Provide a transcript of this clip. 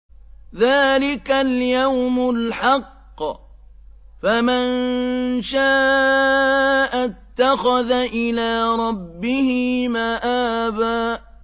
ذَٰلِكَ الْيَوْمُ الْحَقُّ ۖ فَمَن شَاءَ اتَّخَذَ إِلَىٰ رَبِّهِ مَآبًا